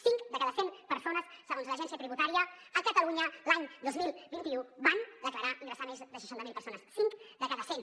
cinc de cada cent persones segons l’agència tributària a catalunya l’any dos mil vint u van declarar ingressar més de seixanta mil euros cinc de cada cent